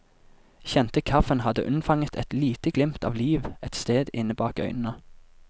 Kjente kaffen hadde unnfanget et lite glimt av liv et sted inne bak øynene.